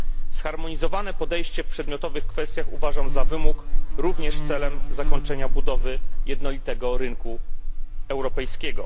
Zharmonizowane podejście w przedmiotowych kwestiach uważam za wymóg, również celem zakończenia budowy jednolitego rynku europejskiego.